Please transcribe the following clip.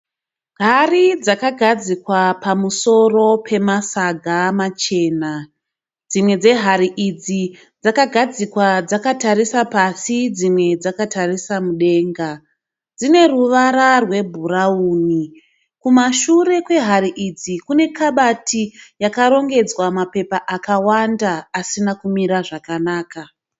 Hari dzakagadzikwa pamusoro pemasaga machena. Dzimwe dzehari idzi dzakagadzikwa dzakatarisa pasi dzimwe dzakatarisa mudenga. Dzine ruvara rwebhurawuni. Kumashure kwehari idzi kune kabati yakarongedzwa mapepa akawanda asina kumira zvakanaka.